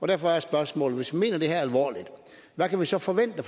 derfor er spørgsmålet hvis vi mener det her alvorligt hvad kan vi så forvente